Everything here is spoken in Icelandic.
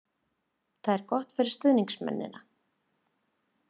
Þetta er gott fyrir stuðningsmennina.